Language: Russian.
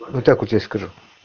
вот так вот я скажу